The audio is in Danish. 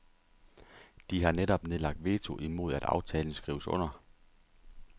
De har netop nedlagt veto imod at aftalen skrives under.